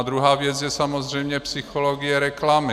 A druhá věc je samozřejmě psychologie reklamy.